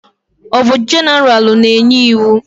Ọ bụ jeneralụ na-enye iwu?